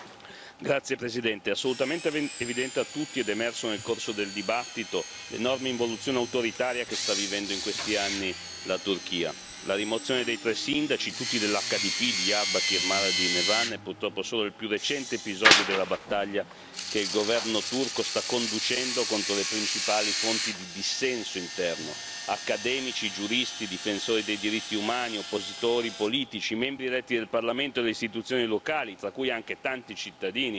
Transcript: Signor Presidente, onorevoli colleghi, è assolutamente evidente a tutti, ed è emerso nel corso della discussione, l'enorme involuzione autoritaria che sta vivendo in questi anni la Turchia. La rimozione dei tre sindaci, tutti dell'HDP, di Diyarbakır, Mardin e Van è purtroppo solo il più recente episodio della battaglia che il governo turco sta conducendo contro le principali fonti di dissenso interno accademici, giuristi, difensori dei diritti umani, oppositori politici, membri eletti del Parlamento e delle istituzioni locali, tra cui anche tanti cittadini